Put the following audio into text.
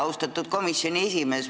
Austatud komisjoni esimees!